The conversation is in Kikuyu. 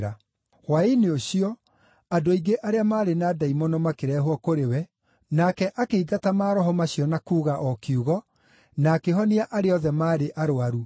Hwaĩ-inĩ ũcio, andũ aingĩ arĩa maarĩ na ndaimono makĩrehwo kũrĩ we, nake akĩingata maroho macio na kuuga o kiugo, na akĩhonia arĩa othe maarĩ arũaru.